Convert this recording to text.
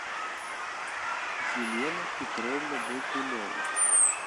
елена петровна болтунова